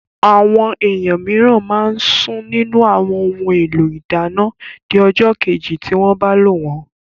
Àwọn èèyàn mìíràn máa sún nínù àwọn ohun èlò ìdáná di ọjọ́ kejì tí wọ́n bá lò wọ́n